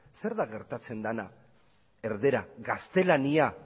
zer da gertatzen dena erdara gaztelania